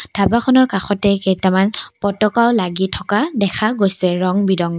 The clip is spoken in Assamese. ধাবাখনৰ কাষতে কেইটামান পতকাও লাগি থকা দেখা গৈছে ৰং বিৰংগৰ।